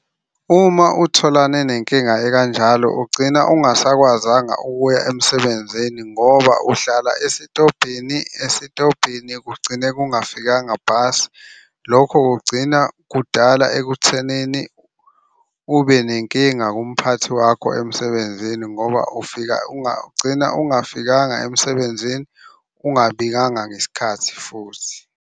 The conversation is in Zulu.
Uma utholane nenkinga ekanjalo ugcina ungasakwazanga ukuya emsebenzini ngoba uhlala esitobhini esitobhini kugcine kungafikanga bhasi. Lokho kugcina kudala ekuthenini ube nenkinga kumphathi wakho emsebenzini ngoba ufika ugcina ungafikanga emsebenzini. Ungabikanga ngesikhathi futhi.